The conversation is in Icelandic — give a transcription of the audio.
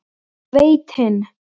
Veita hinn